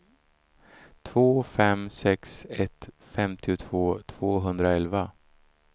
två fem sex ett femtiotvå tvåhundraelva